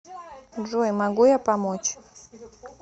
джой могу я помочь